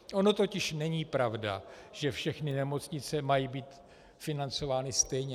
Ono totiž není pravda, že všechny nemocnice mají být financovány stejně.